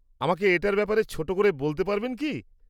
আমাকে এটার ব্যাপারে ছোট করে বলতে পারবেন কি?